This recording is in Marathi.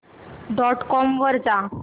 डॉट कॉम वर जा